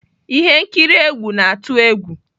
Ihe nkiri egwu na-atụ egwu.